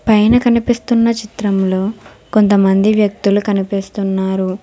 పైన కనిపిస్తున్న చిత్రంలో కొంతమంది వ్యక్తులు కనిపిస్తున్నారు.